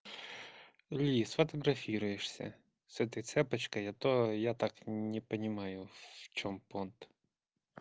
лиз фотографируешься с этой цепочкой а то я так не понимаю в чём понт